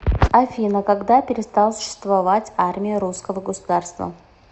афина когда перестал существовать армия русского государства